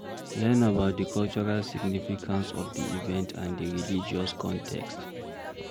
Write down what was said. Learn about di cultural significance of di event and di religious context